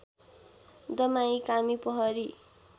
दमाई कामी पहरी